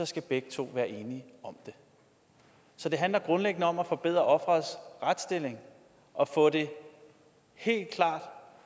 skal begge to være enige om det så det handler grundlæggende om at forbedre offerets retsstilling og få det